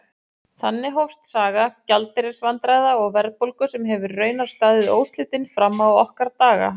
Þannig hófst saga gjaldeyrisvandræða og verðbólgu sem hefur raunar staðið óslitin fram á okkar daga.